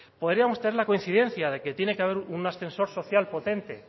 podríamos tener la coincidencia de que tiene que haber un ascensor social potente